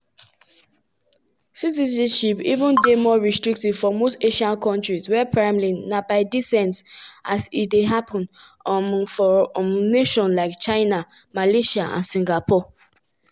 two federal judges don side wit di plaintiffs most recently district judge deborah boardman for maryland. maryland.